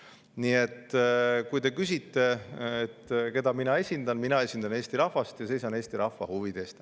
Nii et kui te küsite, keda mina esindan: mina esindan Eesti rahvast ja seisan Eesti rahva huvide eest.